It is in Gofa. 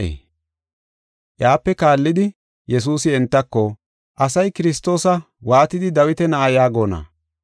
Iyape kaallidi Yesuusi entako, “Asay Kiristoosa waatidi Dawita na7a yaagona?